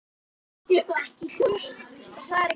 Erla og Árni.